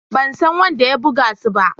Ban san wanda ya buga su ba.